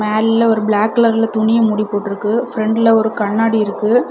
மேல்ல ஒரு பிளாக் கலர்ல துணிய மூடி போட்டுருக்கு ஃப்ரண்ட்ல ஒரு கண்ணாடி இருக்கு.